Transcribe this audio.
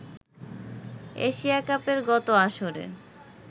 Asia কাপের গত আসরে